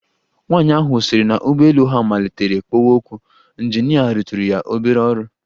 Nwaanyị ahụ sịrị na ụgbọelu ha matlitere kpowe ọkụ, ịnjinịa rụtụrụ ya obere ọrụ.